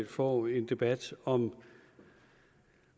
får en debat om